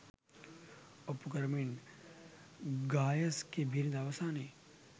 ඔප්පු කරමින් ගායස්ගේ බිරිඳ අවසානයේ